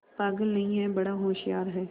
पागल नहीं हैं बड़ा होशियार है